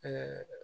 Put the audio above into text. An ka